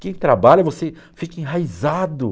Quem trabalha, você fica enraizado.